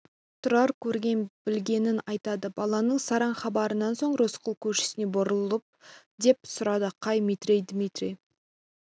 тұрар көрген білгенін айтады баланың сараң хабарынан соң рысқұл көршісіне бұрылып деп сұрады қай метрей дмитрий